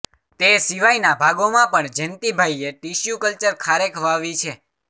તે સિવાયના ભાગોમાં પણ જેન્તીભાઈએ ટિશ્યૂકલ્ચર ખારેક વાવી છે